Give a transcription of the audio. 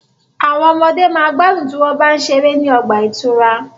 Àwọn ọmọde ma gbádùn tí wọ́n bá ń ṣeré ní ọgbà ìtura.